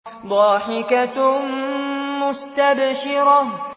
ضَاحِكَةٌ مُّسْتَبْشِرَةٌ